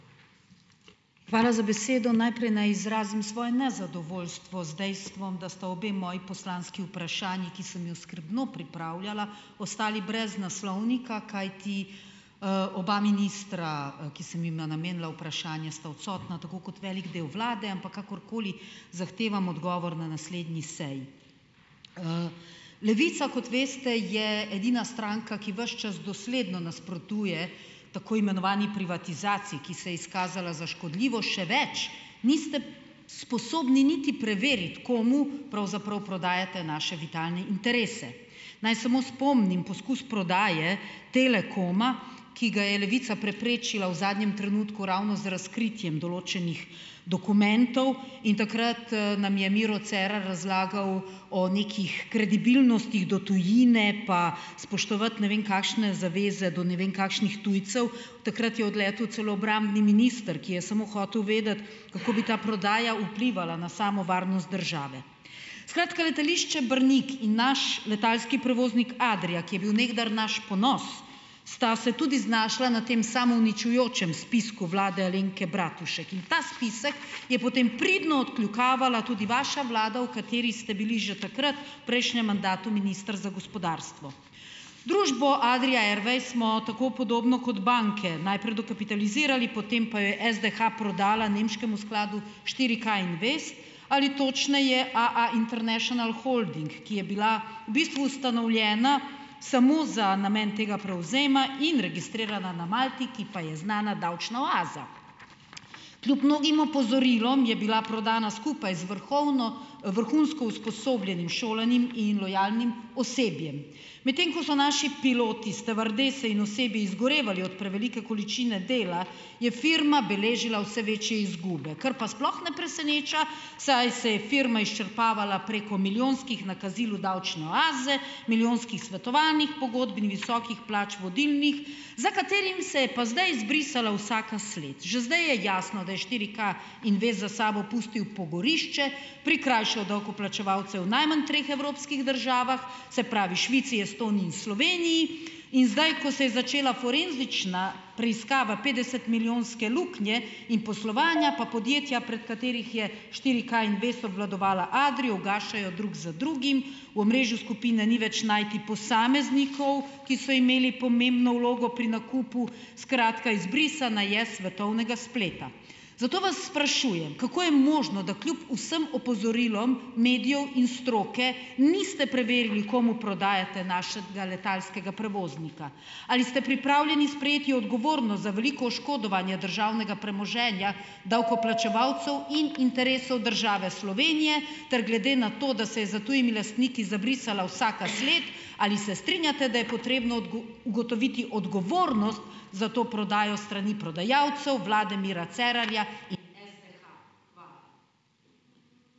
Hvala za besedo. Najprej naj izrazim svoje nezadovoljstvo z dejstvom, da sta obe moji poslanski vprašanji, ki sem ju skrbno pripravljala, ostali brez naslovnika, kajti, oba ministra, ki sem jima namenila vprašanje, sta odsotna, tako kot velik del vlade, ampak kakorkoli. Zahtevam odgovor na naslednji seji. Levica, kot veste, je edina stranka, ki vas čas dosledno nasprotuje tako imenovani privatizaciji, ki se je izkazala za škodljivo, še več, niste sposobni niti preveriti, komu pravzaprav prodajate naše vitalne interese. Naj samo spomnim: poskus prodaje Telekoma, ki ga je Levica preprečila v zadnjem trenutku ravno z razkritjem določenih dokumentov in takrat, nam je Miro Cerar razlagal o nekih kredibilnostih do tujine, pa spoštovati ne vem kakšne zaveze, do ne vem kakšnih tujcev, takrat je odletel celo obrambni minister, ki je samo hotel vedeti, kako bi ta prodaja vplivala na samo varnost države. Skratka, letališče Brnik in naš letalski prevoznik Adria, ki je bil nekdaj naš ponos, sta se tudi znašla na tem samouničujočem spisku vlade Alenke Bratušek in ta spisk je potem pridno "odkljukavala" tudi vaša vlada, v kateri ste bili že takrat, v prejšnjem mandatu, minister za gospodarstvo. Družbo Adria Airways smo tako, podobno kot banke, najprej dokapitalizirali, potem pa jo je SDH prodala nemškemu skladu štiri K Invest ali točneje AA International Holding, ki je bila v bistvu ustanovljena samo za namen tega prevzema in registrirana na Malti, ki pa je znana davčna oaza. Kljub mnogim opozorilom je bila prodana skupaj z vrhovno, vrhunsko usposobljenim šolanim in lojalnim osebjem. Medtem ko so naši piloti, stevardese in osebje izgorevali od prevelike količine dela, je firma beležila vse večje izgube, kar pa sploh ne preseneča, saj se je firma izčrpavala preko milijonskih nakazil v davčne oaze, milijonskih svetovanjih, pogodb in visokih plač vodilnih, za katerim se je pa zdaj izbrisala vsaka sled. Že zdaj je jasno, da je štiri K Invest za sabo pustil pogorišče, prikrajšal davkoplačevalce v najmanj treh evropskih državah - se pravi, Švici, Estoniji in Sloveniji - in zdaj, ko se je začela forenzična preiskava petdesetmilijonske luknje in poslovanja, pa podjetja, prej katerih je štiri K Invest obvladovala Adrio, ugašajo drug za drugim, v omrežju skupine ni več najti posameznikov, ki so imeli pomembno vlogo pri nakupu. Skratka, izbrisana je s svetovnega spleta. Zato vas sprašujem, kako je možno, da kljub vsem opozorilom medijev in stroke niste preverili, komu prodajate našega letalskega prevoznika. Ali ste pripravljeni sprejeti odgovornost za veliko oškodovanje državnega premoženja davkoplačevalcev in interesov države Slovenije ter glede na to, da se je za tujimi lastniki zabrisala vsaka sled, ali se strinjate, da je potrebno ugotoviti odgovornost za to prodajo s strani prodajalcev, vlade Mira Cerarja in SDH. Hvala.